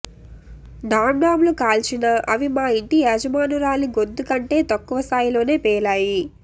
ఢాంఢాంలు కాల్చినా అవి మా ఇంటి యజమానురాలి గొంతుకంటే తక్కువ స్థాయిలోనే పేలాయి